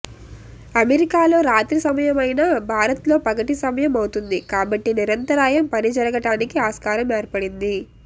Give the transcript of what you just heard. అమెరికాలో రాత్రి సమయమైనా భారత్లో పగటి సమయం అవుతుంది కాబట్టి నిరంతరాయం పని జరగడానికి ఆస్కారం ఏర్పడింది